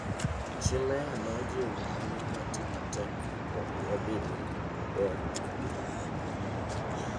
Chi meya nojiwowa ni wati matek mondo wabed gi ngima maber e kinde mabiro.